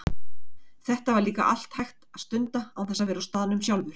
Þetta var líka allt hægt að stunda án þess að vera á staðnum sjálfur.